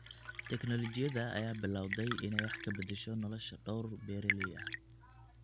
Tiknoolajiyada ayaa bilowday inay wax ka bedesho nolosha dhowr beeraley ah.